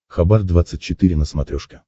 хабар двадцать четыре на смотрешке